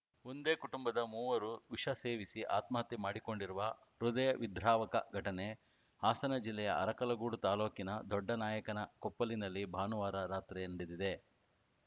ಒಂದೇ ಕುಟುಂಬದ ಮೂವರು ವಿಷ ಸೇವಿಸಿ ಆತ್ಮಹತ್ಯೆ ಮಾಡಿಕೊಂಡಿರುವ ಹೃದಯವಿದ್ರಾವಕ ಘಟನೆ ಹಾಸನ ಜಿಲ್ಲೆಯ ಅರಕಲಗೂಡು ತಾಲೂಕಿನ ದೊಡ್ಡನಾಯಕನಕೊಪ್ಪಲಿನಲ್ಲಿ ಭಾನುವಾರ ರಾತ್ರಿ ನಡೆದಿದೆ